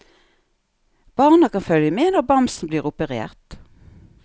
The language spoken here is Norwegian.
Barna kan følge med når bamsen blir operert.